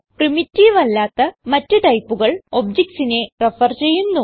primitive അല്ലാത്ത മറ്റ് ടൈപ്പുകൾ objectsനെ റെഫർ ചെയ്യുന്നു